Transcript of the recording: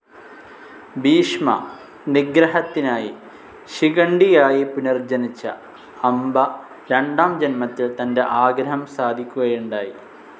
ഭീഷ്മ നിഗ്രഹത്തിനായി ശിഖണ്ഡിയായി പുനർജ്ജനിച്ച അംബ രണ്ടാം ജന്മത്തിൽ തന്റെ ആഗ്രഹം സാധിക്കുകയുണ്ടായി